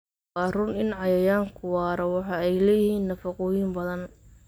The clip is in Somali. Waa run in cayayaanku waara, waxa ay leeyihiin nafaqooyin badan.